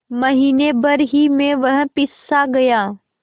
महीने भर ही में वह पिससा गया